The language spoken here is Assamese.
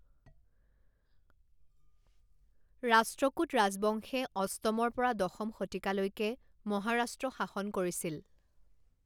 ৰাষ্ট্ৰকূট ৰাজবংশে অষ্টমৰ পৰা দশম শতিকালৈকে মহাৰাষ্ট্ৰ শাসন কৰিছিল।